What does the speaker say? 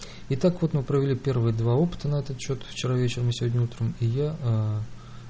и так вот мы провели первые два опыта на этот счёт вчера вечером и сегодня утром и я